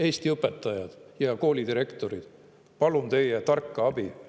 Eesti õpetajad ja koolidirektorid, palun teie tarka abi!